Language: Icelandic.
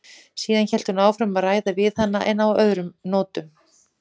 Síðan hélt hún áfram að ræða við hana en á öðrum nótum.